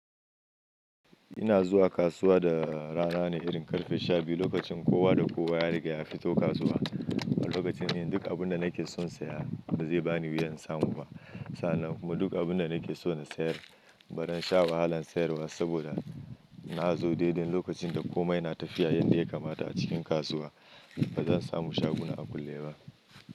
Ina zuwa kasuwa da rana ne irin ƙarfe sha biyu, lokacin kowa da kowa ya riga ya fito kasuwa. A lokacin yin duk abun da nake son saya ba zai bani wuya in samu ba. Sannan kuma duk abun da nake so na sayar ba zan sha wahalan sayarwa saboda na zo daidai lokacin da komai na tafiya yanda ya kamata a cikin kasuwa. Ba zan samu shaguna a kulle ba.